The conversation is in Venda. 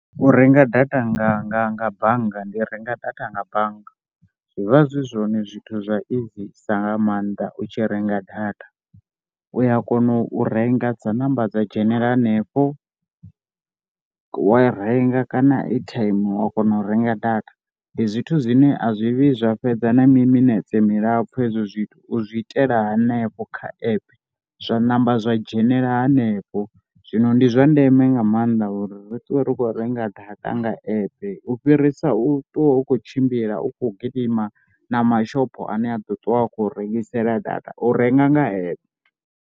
U renga data nga nga nga bannga ndi renga data nga bannga zwi vha zwi zwone zwithu zwa izisa nga maanḓa u tshi renga data. U ya kona u renga dza namba dza dzhenela hanefho wa renga kana airtime wa kona u renga data ndi zwithu zwine a zwi vhi zwa fhedza na miminetse milapfhu hezwo zwithu, u zwi itela hanefho kha app zwa namba zwa dzhenela hanefha. Zwino ndi zwa ndeme nga maanḓa uri ri ṱuwe ri kho renga data nga app u fhirisa u ṱwa u kho tshimbila u kho gidima na mashopho ane a ḓo ṱuwa a khou rengisela data. U renga nga app.